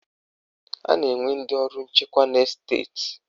A na-enwe ndị ọrụ nchekwa na Esteti